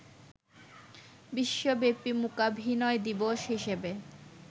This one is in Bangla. বিশ্বব্যাপী মূকাভিনয় দিবস হিসেবে